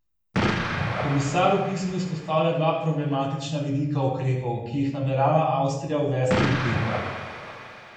Komisar v pismu izpostavlja dva problematična vidika ukrepov, ki jih namerava Avstrija uvesti v petek.